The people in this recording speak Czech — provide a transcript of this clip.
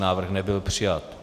Návrh nebyl přijat